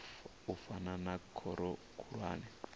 u fana na khoro khulwane